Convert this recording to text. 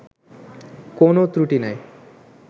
কোনও ক্রটি নাই